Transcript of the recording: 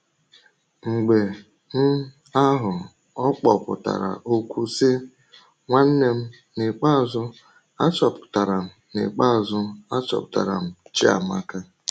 Mgbe um ahụ ọ kpọpụtara okwu sị: “Nwanne m, n’ikpeazụ achọpụtara m n’ikpeazụ achọpụtara m Chiamaka!”